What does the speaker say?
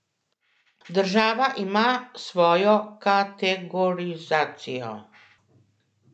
Država ima svojo kategorizacijo.